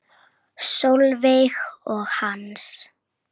Sólveig og Hans.